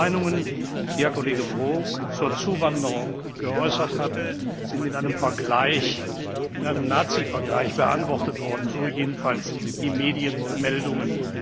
Meinungen, die Herr Kollege Brok zur Zuwanderung geäußert hat, sind mit einem Nazivergleich beantwortet worden, so jedenfalls die Medienmeldungen.